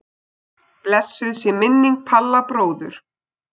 Blessuð sé minning Palla bróður.